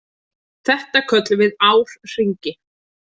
Þetta köllum við árhringi.